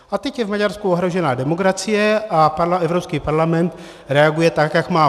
A teď je v Maďarsku ohrožena demokracie a Evropský parlament reaguje tak, jak má.